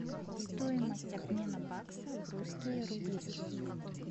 стоимость обмена бакса в русские рубли